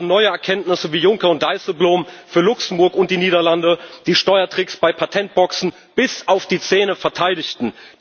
Wir haben neue Erkenntnisse, wie Juncker und Dijsselbloem für Luxemburg und die Niederlande die Steuertricks bei Patentboxen bis auf die Zähne verteidigten.